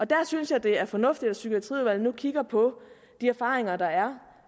der synes jeg det er fornuftigt at psykiatriudvalget nu kigger på de erfaringer der er